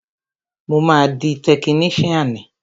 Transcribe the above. Mo máa di tekiníṣíànì